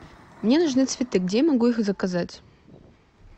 мне нужны цветы где я могу их заказать